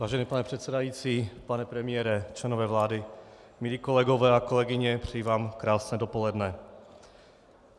Vážený pane předsedající, pane premiére, členové vlády, milí kolegové a kolegyně, přeji vám krásné dopoledne.